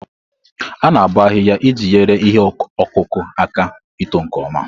A-na aboo ahiiya iji nyere ihe ọkụkụ aka ito nke ọma.